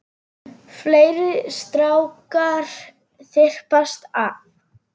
Fleiri strákar þyrpast að.